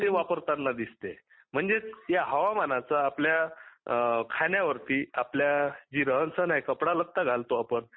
ते वापरताना दिसते म्हणजेच या हवामानाचा आपल्या खान्यावरती जी रहनसहन आहे कपडालता घालतो आपण